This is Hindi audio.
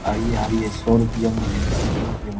आइये-आइये सौ रुपया में ऐनक सौ रुपया में।